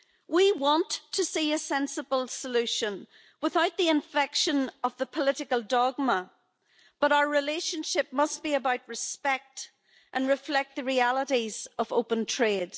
We want to see a sensible solution without the infection of a political dogma, but our relationship must be about respect and reflect the realities of open trade.